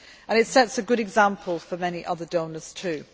It sets a good example for many other donors too.